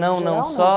Não, não, só